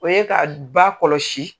O ye ka d ba kɔlɔsi.